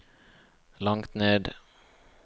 langt ned